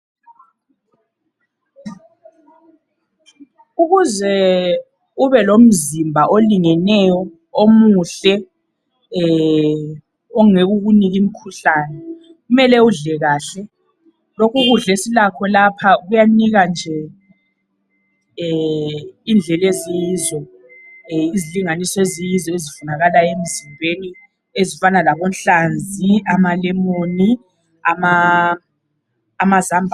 Ukuze ube lomzimba olingeneyo omuhle ongeke ukunike imikhuhlane kumele udle kahle. Lokhu ukudla esilakho lapha kuyanika nje indlela eziyizo izilinganiso eziyizo ezifunakalayo emzimbeni ezifana labonhlanzi, amalemoni, amazambane.